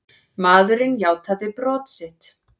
Maðurinn játaði brot sitt.